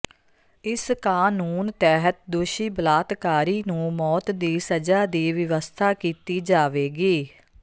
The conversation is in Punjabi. ਇਸ ਕਾਨੂੰਨ ਤਹਿਤ ਦੋਸ਼ੀ ਬਲਾਤਕਾਰੀ ਨੂੰ ਮੌਤ ਦੀ ਸਜ਼ਾ ਦੀ ਵਿਵਸਥਾ ਕੀਤੀ ਜਾਵੇਗੀ